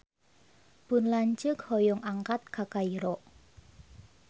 Pun lanceuk hoyong angkat ka Kairo